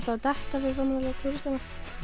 detta fyrir framan alla túristana